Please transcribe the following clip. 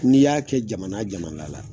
N'i y'a kɛ jamana jamana la